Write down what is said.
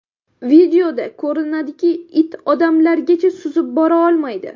Videoda ko‘rinadiki, it odamlargacha suzib bora olmaydi.